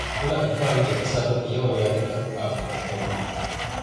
Muna alfahari da ƙasa mafi yawan yarurruka a Afirika ta yamma.